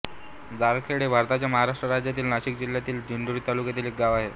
जाळखेड हे भारताच्या महाराष्ट्र राज्यातील नाशिक जिल्ह्यातील दिंडोरी तालुक्यातील एक गाव आहे